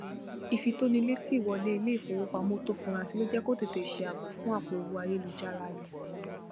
ìfitónilétí ìwọlé iléìfowópamọ tó fura sí ló jẹ kó tètè ṣe ààbò fún àpò owó ayélujára rẹ